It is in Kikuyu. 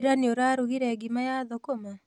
Ira nĩũrarugire ngima na thũkũma?